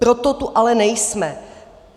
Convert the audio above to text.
Proto tu ale nejsme.